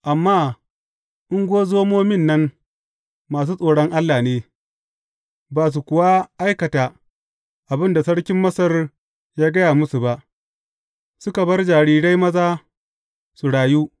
Amma ungozomomin nan masu tsoron Allah ne, ba su kuwa aikata abin da sarkin Masar ya gaya musu ba; suka bar jarirai maza su rayu.